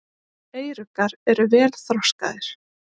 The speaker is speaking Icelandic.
Eyruggar eru vel þroskaðir.